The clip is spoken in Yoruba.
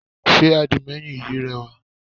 Sé àdìmẹ́yìn yí rẹwà?